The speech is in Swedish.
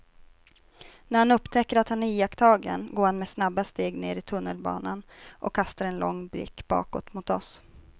När han upptäcker att han är iakttagen går han med snabba steg ner i tunnelbanan och kastar en lång blick bakåt mot oss.